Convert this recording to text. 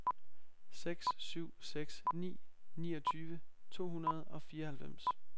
seks syv seks ni niogtyve to hundrede og fireoghalvfems